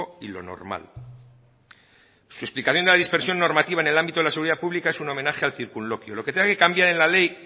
y lo normal su explicación de la dispersión normativa en el ámbito de la seguridad pública es un homenaje al circunloquio lo que tengan que cambiar en la ley